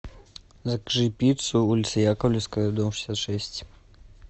закажи пиццу улица яковлевская дом шестьдесят шесть